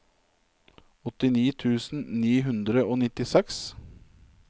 åttini tusen ni hundre og nittiseks